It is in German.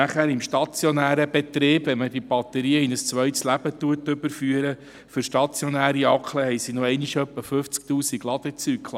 Im stationären Betrieb, wenn man die Batterien in ein zweites Leben überführt, hat diese noch einmal etwa 50 000 Ladezyklen.